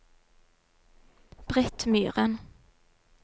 Britt Myhren